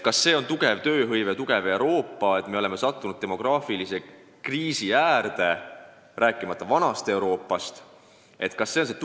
Kas see on märk heast tööhõivest ja Euroopa tugevusest, kui meiegi oleme sattunud demograafilise kriisi äärele, rääkimata vanast Euroopast?